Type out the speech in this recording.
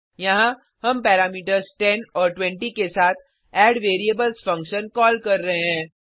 यहाँ हम पैरामीटर्स 10 और 20 के साथ एडवेरिएबल्स फंक्शन कॉल कर रहे हैं